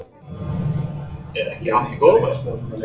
Logi: Er ekki allt í góðu bara?